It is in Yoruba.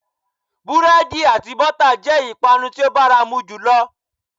Búrédì àti bótà jé ìpanu tí ó báramo jùlo